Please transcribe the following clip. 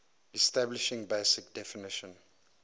establishing basic definition